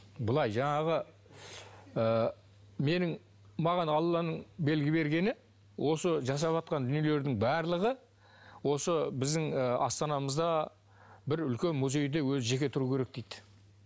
былай жаңағы ы менің маған алланың белгі бергені осы жасаватқан дүниелердің барлығы осы біздің ы астанамызда бір үлкен музейде өзі жеке тұру керек дейді